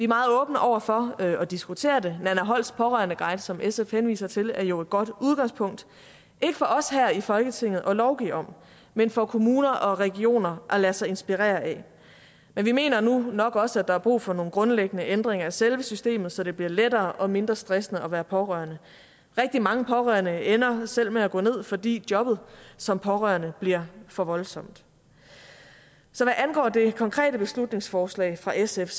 meget åbne over for at diskutere det nanna holsts pårørendeguide som sf henviser til er jo et godt udgangspunkt ikke for os her i folketinget at lovgive om men for kommuner og regioner at lade sig inspirere af men vi mener nu nok også at der er brug for nogle grundlæggende ændringer af selve systemet så det bliver lettere og mindre stressende at være pårørende rigtig mange pårørende ender selv med at gå ned fordi jobbet som pårørende bliver for voldsomt så hvad angår det konkrete beslutningsforslag fra sf